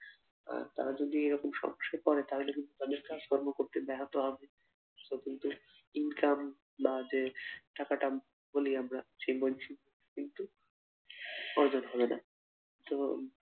তারা যদি এরকম সমস্যায় পড়ে তাহলে কিন্তু তাদের কাজ কর্ম করতে ব্যাহত হবে সে কিন্তু income বা যে টাকাটা বলি আমরা যে বলছি কিন্তু অর্জন হবে না তো